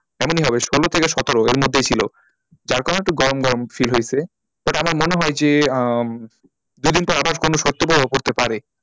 এমনি হবে ষোলো থেকে সতের এর মধ্যেই ছিল যার কারণে একটু গরম গরম feel হয়েছে but আমার মনে হয় যে আহ দুদিন পর আবার শৈতপ্রভাব পড়তে পারে।